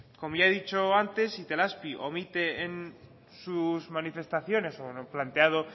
como ya he dicho antes itelazpi omite en sus manifestaciones o lo planteado